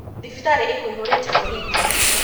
Thibitarĩkũihũrĩte borithi.